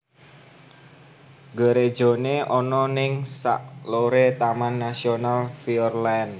Gerejone ono ning sak lore Taman Nasional Fiordland